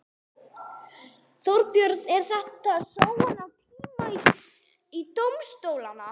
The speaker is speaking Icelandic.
Þorbjörn: Er þetta sóun á tíma dómstólanna?